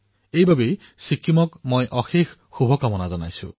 ইয়াৰ বাবে মই ছিক্কিমৰ জনসাধাৰণক অশেষ অভিনন্দন জনাইছোঁ